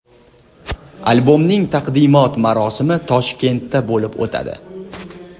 Albomning taqdimot marosimi Toshkentda bo‘lib o‘tadi.